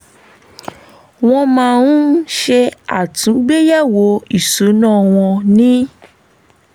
wọ́n máa ń ṣe àtúngbéyẹ̀wo ìṣúná wọn ní